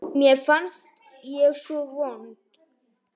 Mér fannst ég svo vond.